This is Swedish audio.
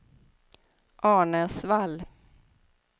Arnäsvall